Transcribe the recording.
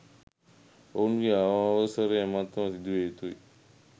ඔවුන්ගේ අවසරය මතම සිදුවිය යුතුය